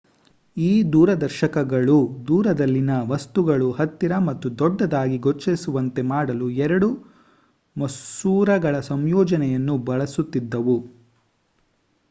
ಈ ದೂರದರ್ಶಕಗಳು ದೂರದಲ್ಲಿನ ವಸ್ತುಗಳು ಹತ್ತಿರ ಮತ್ತು ದೊಡ್ಡದಾಗಿ ಗೋಚರಿಸುವಂತೆ ಮಾಡಲು ಎರಡು ಮಸೂರಗಳ ಸಂಯೋಜನೆಯನ್ನು ಬಳಸುತ್ತಿದ್ದವು